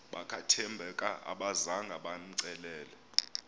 bakathembeka abazanga bamcelele